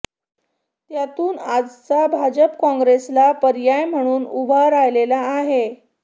त्यातून आजचा भाजप काँग्रेसला पर्याय म्हणून उभा राहिलेला आहे